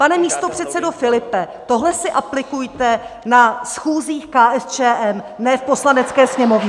Pane místopředsedo Filipe, tohle si aplikujte na schůzích KSČM, ne v Poslanecké sněmovně!